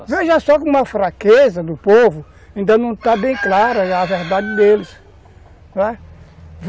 Veja só como a fraqueza do povo ainda não está bem clara a verdade deles.